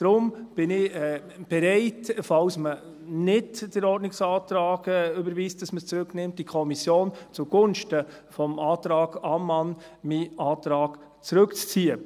Deshalb bin ich bereit, meinen Antrag zugunsten des Antrags Ammann zurückzuziehen, falls man den Ordnungsantrag nicht überweist, es zurück in die Kommission zu nehmen.